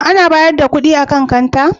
Ana bayar da kuɗi a kan kanta?